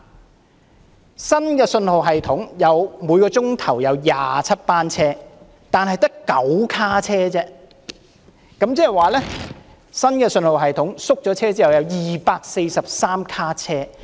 在新信號系統之下，每小時有27班車，但只有9卡車，即是使用新的信號系統並縮減車卡之後，有243卡車。